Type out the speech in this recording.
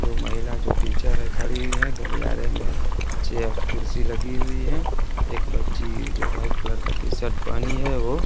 दो महिला जो टीचर है खड़ी हुई है गलियारे में चेयर कुर्सी लगी हुई हैं एक बच्ची जो व्हाइट कलर का टी शर्ट पहनी है वो --